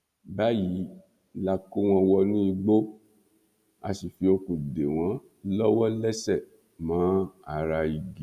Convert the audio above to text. báyìí la kó wọn wọnú igbó a sì fi okùn dè wọn lọwọlẹsẹ mọ ara igi